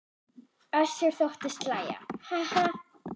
Össur þóttist hlæja: Ha ha.